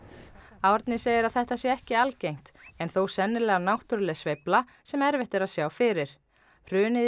Árni segir að þetta sé ekki algengt en þó sennilega náttúruleg sveifla sem erfitt er að sjá fyrir hrunið í